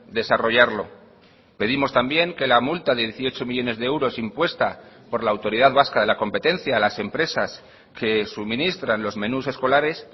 desarrollarlo pedimos también que la multa de dieciocho millónes de euros impuesta por la autoridad vasca de la competencia a las empresas que suministran los menús escolares